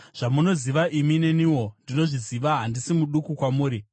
Zvamunoziva imi, neniwo ndinozviziva; handisi muduku kwamuri.